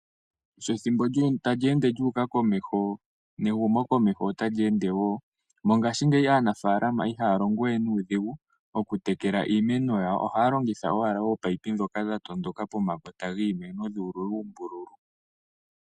Sho ethimbo tali ende lyu uka komeho nehumo komeho otali ende. Mongaashi ngeyi aanafalama ihaya longo we nuudhigu oku tekela iimeno ywo ohaya longitha owala ominino ndhoka dha tondoka pomakota giimeno gu ululwa uumbululu.